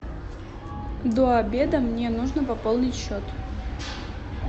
до обеда мне нужно пополнить счет